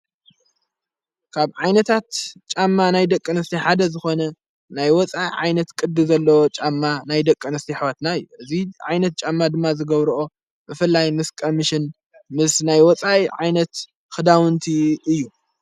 ካብ ዓይነታት ጫማ ናይ ደቂአንስቲ ሓደ ዝኾነ ናይ ወፃእ ዓይነት ቅዲ ዘለዎ ጫማ ናይ ደቀንስቲ ኅዋትና እይ እዙይ ዓይነት ጫማ ድማ ዝገብርኦ ብፍላይ ምስ ቀምሽን ምስ ናይ ወጻይ ዓይነት ኽዳውንቲ እዩ፡፡